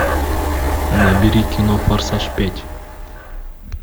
набери кино форсаж пять